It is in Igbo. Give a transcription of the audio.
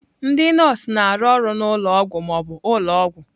Ndị nọọsụ na-arụ ọrụ na ụlọ ọgwụ ma ọ bụ ụlọ ọgwụ.